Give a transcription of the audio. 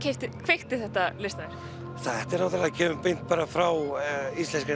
kveikti þetta listaverk þetta kemur beint frá íslenskri